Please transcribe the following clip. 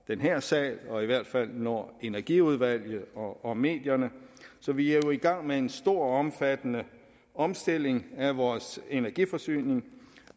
den her sal og i hvert fald når energiudvalget og medierne så vi er jo i gang med en stor og omfattende omstilling af vores energiforsyning